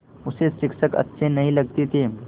उसे शिक्षक अच्छे नहीं लगते थे